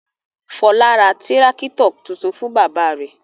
Fọlá ra tírákítọ̀ tuntun fún bàbá rẹ̀.